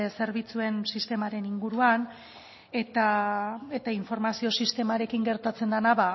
zerbitzuen sistemaren inguruan eta informazio sistemarekin gertatzen dena